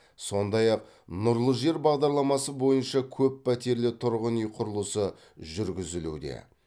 сондай ақ нұрлы жер бағдарламасы бойынша көппәтерлі тұрғын үй құрылысы жүргізілуде